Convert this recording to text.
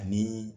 Ani